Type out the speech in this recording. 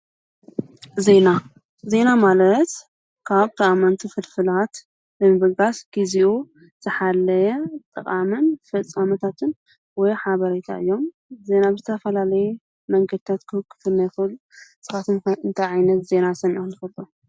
ዜና፡- ዜና ማለት ካብ ጠቀምቲ ፍልፍላት ናይ ምብጋስ ግዚኡ ዝሓልፍ ጥቓምን ፍፃመታትን ወሞያ ሓበረይታ እዮም። ዜና ብዝተፈላለዩ መንገታት ክመሓላለፍ ንሰምዕ። ንስካትኩም ከ እንታይ ዓይነት ዜና ሰሚዒኩም ትፍልጡ?